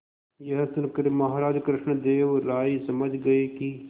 यह सुनकर महाराज कृष्णदेव राय समझ गए कि